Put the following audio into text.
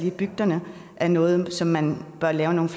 i bygderne er noget som man bør lave nogle